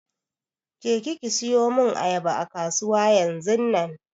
Je ki ki siyo mun ayaba a kasuwa yanzunnan!